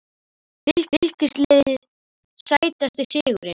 Fylkisliðið Sætasti sigurinn?